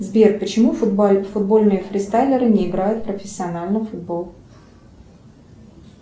сбер почему футбольные фристайлеры не играют профессионально в футбол